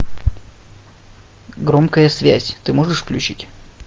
громкая связь ты можешь включить